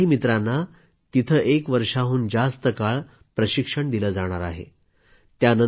या चारही मित्रांना तिथं एका वर्षापेक्षा जास्त काळ प्रशिक्षण देण्यात येणार आहे